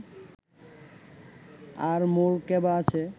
আর মোর কেবা আছে